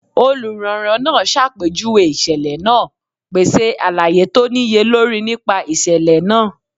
Oluranran naa ṣapejuwe iṣẹlẹ naa, pese alaye to niyelori nipa iṣẹlẹ naa.